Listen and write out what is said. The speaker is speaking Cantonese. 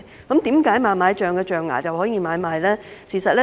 為何猛獁象象牙可以買賣？